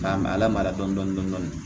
K'a lamaga dɔɔni dɔɔni dɔɔni